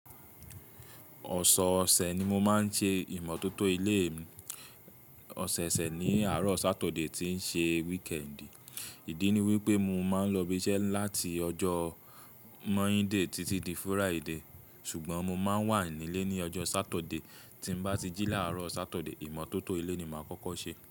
Ọ̀sọ ọ̀sẹ̀ ni mo máa ń ṣe ìmọ̀tótó ilé mi. Ọ̀sẹ̀ẹ̀sẹ̀ ni àárọ̀ Saturday tí ń ṣe weekend. Ìdí ni wípé mo máa ń lọ ibi iṣẹ́ láti ọjọ́ Monday títí di Friday, ṣùgbọ́n mo máa ń wà nílé ní ọjọ́ Saturday. Tí mo bá ti jí láàárọ̀ Saturday, ìmọ̀tótó ilé ni màá kọ́kọ́ ṣe.